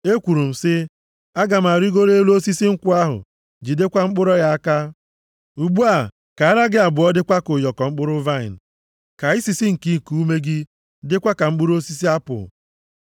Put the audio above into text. Ekwuru m sị, “Aga m arịgoro elu osisi nkwụ ahụ, jidekwa mkpụrụ ya aka.” Ugbu a, ka ara gị abụọ dịkwa ka ụyọkọ mkpụrụ vaịnị, ka isisi nke iku ume gị dịkwa ka mkpụrụ osisi apụl,